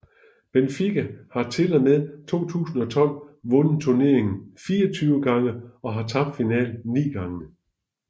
Benfica har til og med 2012 vundet turneringen 24 gange og tabt finalen 9 gange